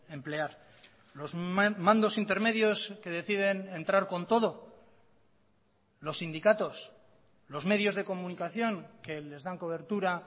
emplear los mandos intermedios que deciden entrar con todo los sindicatos los medios de comunicación que les dan cobertura